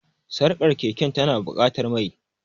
Sarkar keke tana buƙatar mai.